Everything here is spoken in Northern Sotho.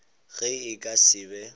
ge e ka se be